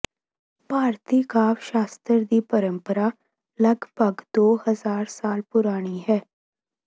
ਭਾਰਤੀ ਕਾਵਿ ਸ਼ਾਸਤਰ ਦੀ ਪਰੰਪਰਾ ਲਗਭਗ ਦੋ ਹਜ਼ਾਰ ਸਾਲ ਪੁਰਾਣੀ ਹੈ